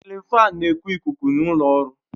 Sịlin fáan na eku ikuku n'ulo ọrụ